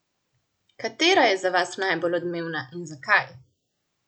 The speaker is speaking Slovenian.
Katera je za vas najbolj odmevna in zakaj?